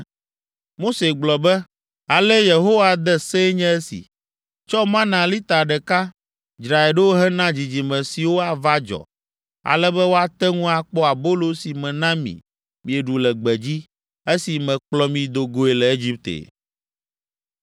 Mose gblɔ be, “Ale Yehowa de see nye esi, ‘Tsɔ mana lita ɖeka, dzrae ɖo hena dzidzime siwo ava dzɔ, ale be woate ŋu akpɔ abolo si mena mi mieɖu le gbedzi, esi mekplɔ mi do goe le Egipte.’ ”